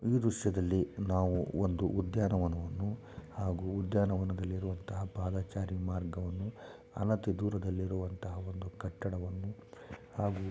ಈ ದೃಶ್ಯದಲ್ಲಿ ನಾವು ಒಂದು ಉದ್ಯಾನವನವನ್ನು ಹಾಗೂ ಉದ್ಯಾನವನದಲ್ಲಿ ಇರುವಂತಹ ಪಾದಾಚರಿ ಮಾರ್ಗವನ್ನು ಹಣತಿ ದೂರದಲ್ಲಿ ಇರುವಂತಹ ಒಂದು ಕಟ್ಟಡವನ್ನು ಹಾಗೂ